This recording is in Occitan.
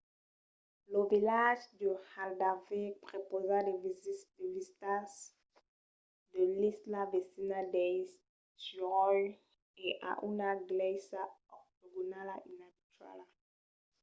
lo vilatge de haldarsvík prepausa de vistas de l’isla vesina d’eysturoy e a una glèisa octogonala inabituala